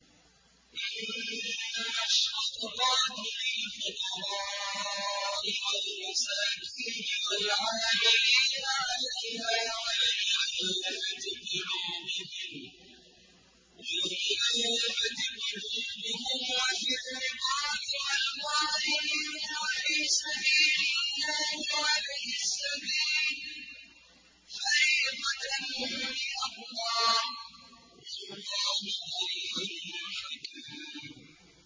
۞ إِنَّمَا الصَّدَقَاتُ لِلْفُقَرَاءِ وَالْمَسَاكِينِ وَالْعَامِلِينَ عَلَيْهَا وَالْمُؤَلَّفَةِ قُلُوبُهُمْ وَفِي الرِّقَابِ وَالْغَارِمِينَ وَفِي سَبِيلِ اللَّهِ وَابْنِ السَّبِيلِ ۖ فَرِيضَةً مِّنَ اللَّهِ ۗ وَاللَّهُ عَلِيمٌ حَكِيمٌ